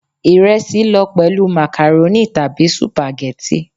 Ìresí lọ pẹ̀lú màkàrónì tàbí Sùpàgẹ́tì.